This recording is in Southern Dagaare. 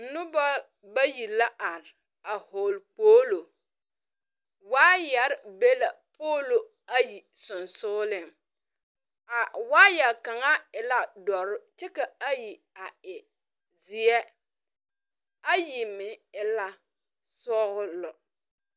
Noba bayi la are. A vogle kpoolo. Waayar be la poolo ayi sugsuuliŋ. A waaya kanga e la dour kyɛ ka ayi a e zie. Ayi meŋ e la sɔglɔ.